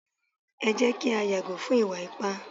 e jé kí a yàgò fún ìwà ipá